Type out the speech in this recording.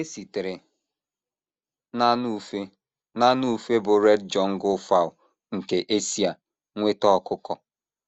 E sitere n’anụ ufe n’anụ ufe bụ́ red jungle fowl nke Esia nweta ọkụkọ.